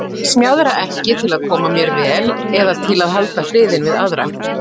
Ég smjaðra ekki til að koma mér vel eða til að halda friðinn við aðra.